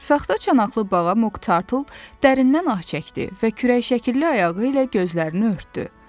Saxta çanaqlı bağa Mok Tartıl dərindən ah çəkdi və kürək şəkilli ayağı ilə gözlərini örtdü.